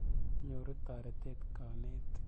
Nyoru toretet kanetik.